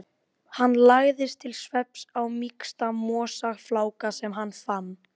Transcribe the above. Allt í einu kvað við hár smellur frá hlaðinu.